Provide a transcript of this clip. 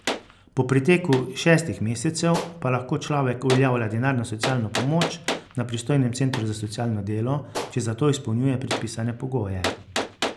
Po preteku šestih mesecev pa lahko človek uveljavlja denarno socialno pomoč na pristojnem centru za socialno delo, če za to izpolnjuje predpisane pogoje.